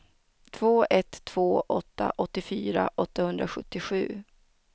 två ett två åtta åttiofyra åttahundrasjuttiosju